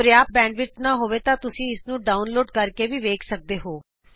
ਜੇ ਤੁਹਾਡੇ ਇੰਟਰਨੈਟ ਦੀ ਸਪੀਡ ਚੰਗੀ ਨਹੀਂ ਹੈ ਤਾਂ ਤੁਸੀਂ ਇਸ ਨੂੰ ਡਾਊਨਲੋਡ ਕਰਕੇ ਵੀ ਦੇਖ ਸਕਦੇ ਹੋ